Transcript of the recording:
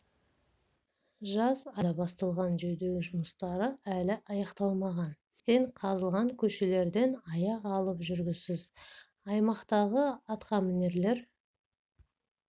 жаз айы басталған жөндеу жұмыстары әлі аяқталмаған кестең қазылған көшелерден аяқ алып жүргісіз аймақтағы атқамінерлер